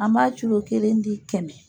An b'a culo kelen di kɛmɛ.